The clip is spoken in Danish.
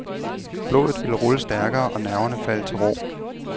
Blodet vil rulle stærkere og nerverne falde til ro.